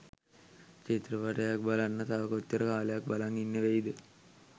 චිත්‍රපටයක් බලන්න තව කොච්චර කාලයක් බලං ඉන්න වෙයිද